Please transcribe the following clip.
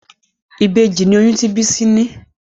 Ìbejì ní oyún tí Bisi ní.